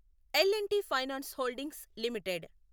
L and T finance holdings limited